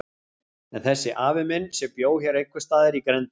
En þessi afi minn, sem bjó hér einhvers staðar í grenndinni.